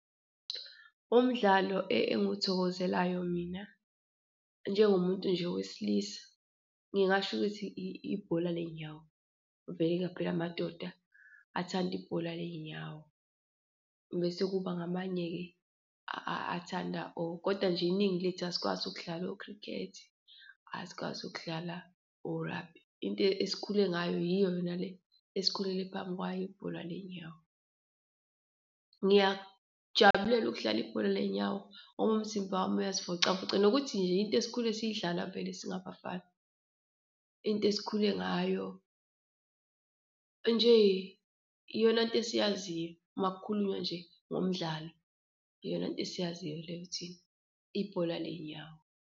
Umdlalo engiwuthokozelayo mina njengomuntu nje owesilisa, ngingasho ukuthi ibhola leyinyawo. Vele phela amadoda athanda ibhola ley'nyawo, bese kuba ngamanye-ke athanda kodwa nje iningi lethu asikwazi ukudlala o-cricket, asikwazi ukudlala o-rugby. Into esikhule ngayo yiyo yona le esikhulele phambi kwayo, ibhola ley'nyawo. Ngiyakujabulela ukudlala ibhola leyinyawo ngoba umzimba wami uyazivocavoca nokuthi nje into esikhule siyidlala vele singabafana, into esikhule ngayo, nje iyonanto esiyaziyo uma kukhulunywa nje ngomdlalo, iyonanto esiyaziyo leyo thina, ibhola ley'nyawo.